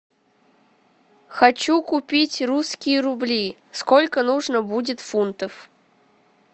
хочу купить русские рубли сколько нужно будет фунтов